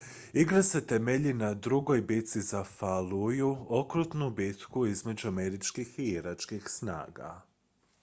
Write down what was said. igra se temelji na drugoj bitci za falluju okrutnu bitku između američkih i iračkih snaga